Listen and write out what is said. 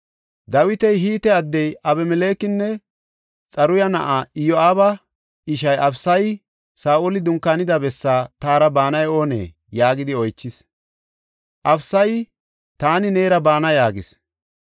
Dawiti Hite addiya Abimelekenne Xaruya na7aa Iyo7aaba ishaa Abisaya, “Saa7oli dunkaanida bessaa taara baanay oonee?” yaagidi oychis. Abisayi, “Taani neera baana” yaagis.